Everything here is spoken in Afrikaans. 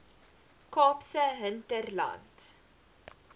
kaapse hinterland